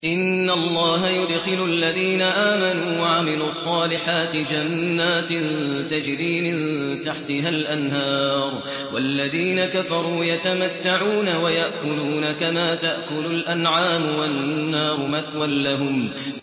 إِنَّ اللَّهَ يُدْخِلُ الَّذِينَ آمَنُوا وَعَمِلُوا الصَّالِحَاتِ جَنَّاتٍ تَجْرِي مِن تَحْتِهَا الْأَنْهَارُ ۖ وَالَّذِينَ كَفَرُوا يَتَمَتَّعُونَ وَيَأْكُلُونَ كَمَا تَأْكُلُ الْأَنْعَامُ وَالنَّارُ مَثْوًى لَّهُمْ